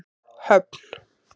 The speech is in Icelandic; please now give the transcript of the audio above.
Höfn